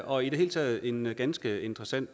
og i det hele taget en ganske interessant